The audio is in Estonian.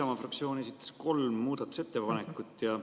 Isamaa fraktsioon esitas kolm muudatusettepanekut.